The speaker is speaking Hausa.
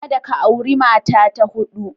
Kada ka auri mata ta huɗu.